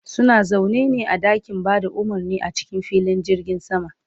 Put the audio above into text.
suna zaune ne a ɗakin Bada umurni a cikin filin jirgin sama